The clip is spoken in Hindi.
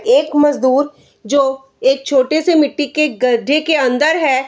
एक मजदुर जो एक छोटे से मिट्टी के गड्ढे के अंदर है।